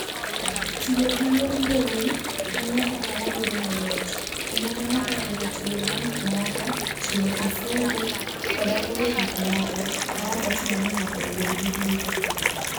Tiyo gi yor mbui miyo ohala bedo mayot, kendo mano oriwo tiyo gi gik moko, chulo osuru, koda oro gik moko, maok ochuno ni ng'ato obed gi duka.